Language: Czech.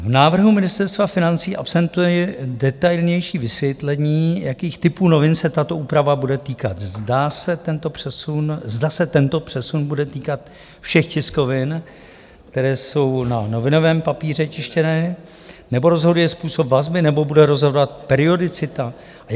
V návrhu Ministerstva financí absentuje detailnější vysvětlení, jakých typů novin se tato úprava bude týkat, zda se tento přesun bude týkat všech tiskovin, které jsou na novinovém papíře tištěné, nebo rozhoduje způsob vazby, nebo bude rozhodovat periodicita?